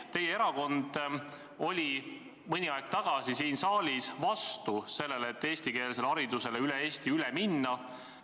Teie erakond oli mõni aeg tagasi siin saalis vastu sellele, et kogu Eestis eestikeelsele haridusele üle minna.